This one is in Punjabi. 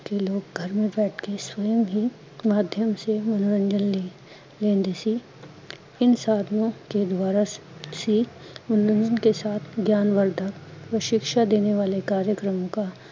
ਕੀ ਲੋਗ ਗਰ ਬੈਠ ਕੇ ਸਵਮ ਹੀਂ ਮਾਧਿਅਮ ਸੇ ਮਨੋਰੰਜਨ ਲੇ, ਲੈਂਦੇ ਸੀ, ਇਨ ਸਾਧਨੋਂ ਕੇ ਦੁਆਰਾ ਸੀ, ਉਣ ਲੋਗੋ ਕੇ ਸਾਥ ਗਿਆਨ ਵਰਧਨ ਓਰ ਸ਼ਿਕਸ਼ਾਂ ਦੇਣੇ ਵਾਲੈ ਕਰੀਏਕਰ੍ਮ ਕਾ